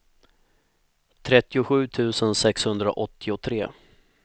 trettiosju tusen sexhundraåttiotre